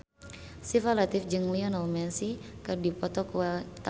Syifa Latief jeung Lionel Messi keur dipoto ku wartawan